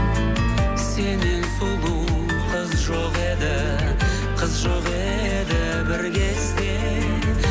сеннен сұлу қыз жоқ еді қыз жоқ еді бір кезде